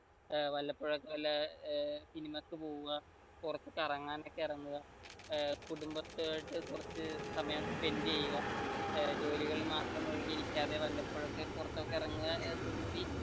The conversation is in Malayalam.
വല്ലപ്പോഴും വല്ല സിനിമക്ക് പോവുക പുറത്തു കറങ്ങാൻ ഒക്കെ ഇറങ്ങുക കുടംബത്തിനെയായിട്ട് കുറച്ചു സമയം spend ചെയ്യുക ജോലികളിൽ മാത്രം മുഴുകി ഇരിക്കാതെ വല്ലപ്പോഴൊക്കെ പുറത്തേക്ക് ഇറങ്ങുക